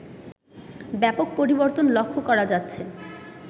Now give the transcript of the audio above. ব্যাপক পরিবর্তন লক্ষ্য করা যাচ্ছে